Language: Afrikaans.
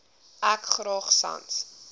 ek graag sans